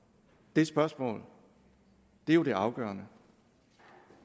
det spørgsmål er jo det afgørende